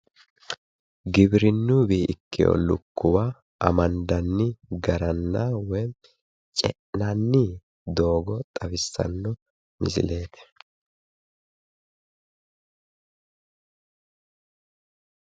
Giwirinnuyiwii ikkiwo lukkuwa amandanni garanna woyi ce'nanni doogo xawissanno misileeti.